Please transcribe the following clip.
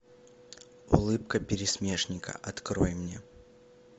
улыбка пересмешника открой мне